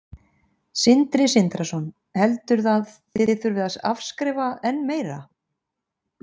Sindri Sindrason: Heldur að þið þurfið að afskrifa enn meira?